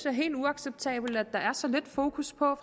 er helt uacceptabelt at der er så lidt fokus på